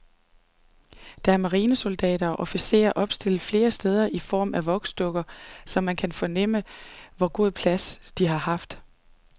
Der er marinesoldater og officerer opstillet flere steder i form af voksdukker, så man kan fornemme, hvor god plads de har haft.